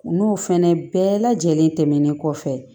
N'o fɛnɛ bɛɛ lajɛlen tɛmɛnen kɔfɛ